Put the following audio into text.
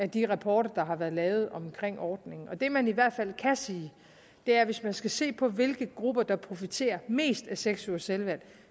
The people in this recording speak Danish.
de rapporter der har været lavet om ordningen og det man i hvert fald kan sige er at hvis man skal se på hvilke grupper der profiterer mest af seks ugers selvvalgt